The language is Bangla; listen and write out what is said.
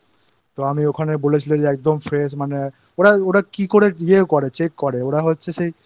তো আমি ওখানে বলেছিলাম যে একদম Fresh মানে ওরা ওরা কি করে Check করে ওরা হচ্ছে